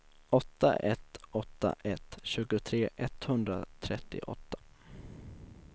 åtta ett åtta ett tjugotre etthundratrettioåtta